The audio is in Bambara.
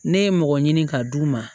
Ne ye mɔgɔ ɲini ka d'u ma